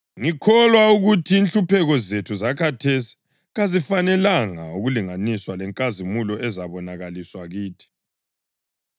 Ngikholwa ukuthi inhlupheko zethu zakhathesi kazifanelanga ukulinganiswa lenkazimulo ezabonakaliswa kithi.